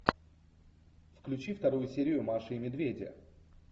включи вторую серию маши и медведя